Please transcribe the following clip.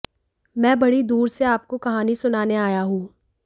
मैं बड़ी दूर से आपको कहानी सुनाने आया हूं